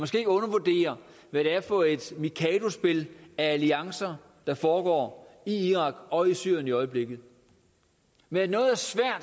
skal ikke undervurdere hvad det er for et mikadospil af alliancer der foregår i irak og i syrien i øjeblikket men at noget